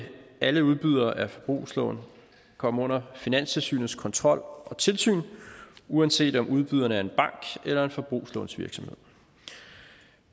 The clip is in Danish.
alle udbydere af forbrugslån komme under finanstilsynets kontrol og tilsyn uanset om udbyderen er en bank eller en forbrugslånsvirksomhed